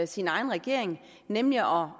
sin egen regering nemlig at om